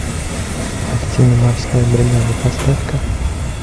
картина морская бригада поставь ка